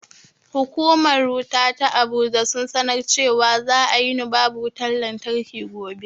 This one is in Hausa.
Hukumar wuta ta abuja sun sanar cewa za a yini babu wutan lantarki gobe